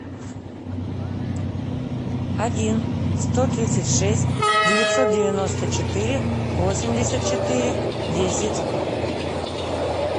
один сто тридцать шесть девятьсот девяносто четыре восемьдесят четыре десять